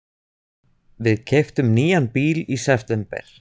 Við keyptum nýjan bíl í september.